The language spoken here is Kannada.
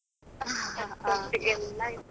ಹಾ .